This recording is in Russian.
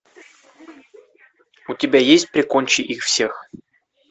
у тебя есть прикончи их всех